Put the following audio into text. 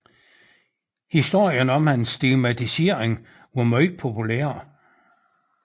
Historien om hans stigmatisering var meget populær